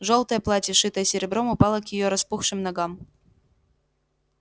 жёлтое платье шитое серебром упало к её распухшим ногам